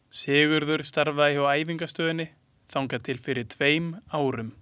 Sigurður starfaði hjá Æfingastöðinni þangað til fyrir tveim árum.